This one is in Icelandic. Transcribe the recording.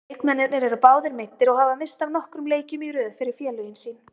Leikmennirnir eru báðir meiddir og hafa misst af nokkrum leikjum í röð fyrir félögin sín.